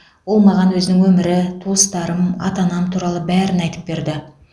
ол маған өзінің өмірі туыстарым ата анам туралы бәрін айтып берді